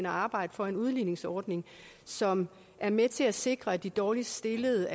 arbejde for en udligningsordning som er med til at sikre at de dårligst stillede